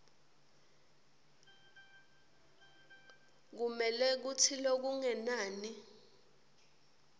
kumele kutsi lokungenani